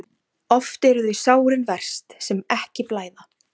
Oft eru þau sárin verst sem ekki blæða.